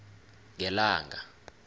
ngelanga